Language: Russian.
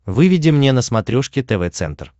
выведи мне на смотрешке тв центр